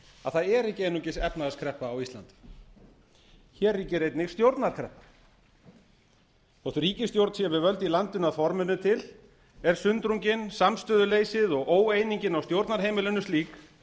að það er ekki einungis efnahagskreppa á íslandi hér ríkir einnig stjórnarkreppa þótt ríkisstjórn sé við völd í landinu að forminu til er sundrungin samstöðuleysið og óeiningin á stjórnarheimilinu slík